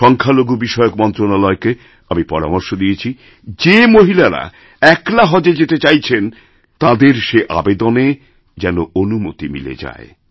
সংখ্যালঘু বিষয়কমন্ত্রণালয়কে আমি পরামর্শ দিয়েছি যে মহিলারা একলা হজএ যেতে চাইছেন তাঁদের সেআবেদনে যেন অনুমতি মিলে যায়